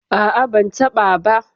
ah ah, ban taba ba